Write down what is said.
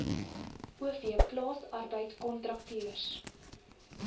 o v plaasarbeidkontrakteurs